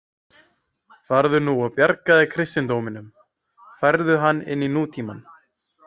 Farðu nú og bjargaðu kristindóminum, færðu hann inn í nútímann.